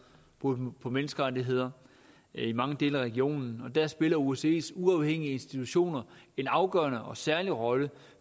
brud på menneskerettigheder i mange dele af regionen og der spiller osces uafhængige institutioner en afgørende og særlig rolle